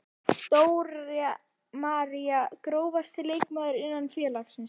Dóra María Grófasti leikmaður innan félagsins?